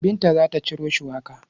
Binta za ta ciro shuwaka.